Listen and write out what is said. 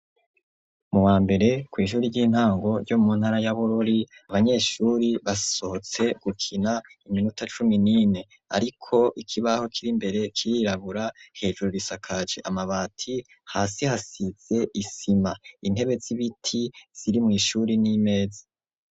Mu wa mbere, kw'ishure ry'intango ryo muntara ya Bururi, abanyeshuri basohotse gukina iminota cumi n'ine. Ariko ikibaho kiri imbere kirirabura, hejuru risakaje amabati, hasi hasize isima. Intebe z'ibiti ziri mw'ishuri n'imezi.